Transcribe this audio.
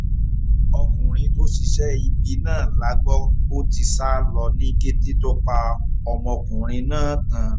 ọkùnrin tó ṣiṣẹ́ ibi náà la gbọ́ pó ti sá lọ ní kété tó pa ọmọkùnrin náà tán